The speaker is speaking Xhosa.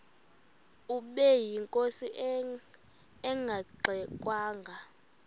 ubeyinkosi engangxe ngwanga